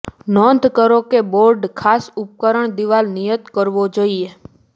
નોંધ કરો કે બોર્ડ ખાસ ઉપકરણ દીવાલ નિયત કરવો જોઇએ